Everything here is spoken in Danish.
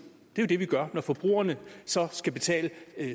det er jo det vi gør når forbrugerne så skal betale